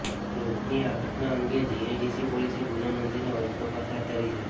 લૂંટની આ ઘટના અંગે જીઆઇડીસી પોલીસે ગુનો નોંધીને વધુ તપાસ હાથ ધરી છે